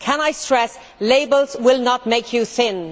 Can I stress that labels will not make you thin.